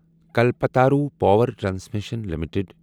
Kalpataru power transmission limited